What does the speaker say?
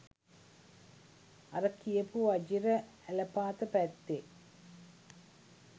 අර කියපු වජිර ඇලපාත පැත්තේ